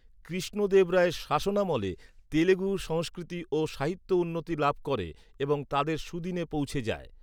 কৃষ্ণদেবরায়ের শাসনামলে, তেলেগু সংস্কৃতি ও সাহিত্য উন্নতি লাভ করে এবং তাদের সুদিনে পৌঁছে যায়।